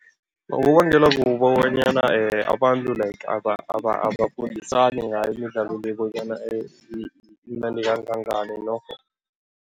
Kubangelwa kukobonyana abantu like abafundisani ngayo imidlalo le bonyana imnandi kangangani norho.